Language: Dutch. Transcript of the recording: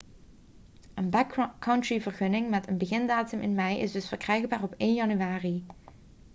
een backcountry-vergunning met een begindatum in mei is dus verkrijgbaar op 1 januari